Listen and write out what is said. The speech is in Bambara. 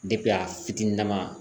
a fitininama